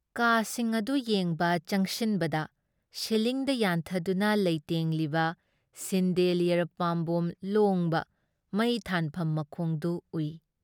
ꯀꯥꯁꯤꯡ ꯑꯗꯨ ꯌꯦꯡꯕ ꯆꯪꯁꯤꯟꯕꯗ ꯁꯤꯂꯤꯡꯗ ꯌꯥꯟꯊꯗꯨꯅ ꯂꯩꯇꯦꯡꯂꯤꯕ ꯁꯤꯟꯗꯦꯂꯤꯌꯔ ꯄꯥꯝꯕꯣꯝ ꯂꯣꯉꯕ ꯃꯩ ꯊꯥꯟꯐꯝ ꯃꯈꯣꯡ ꯗꯨ ꯎꯏ ꯫